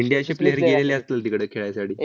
इंडियाचे player गेलेले असतील तिकडे खेळायसाठी.